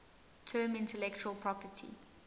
term intellectual property